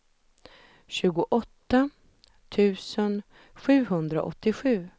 tjugoåtta tusen sjuhundraåttiosju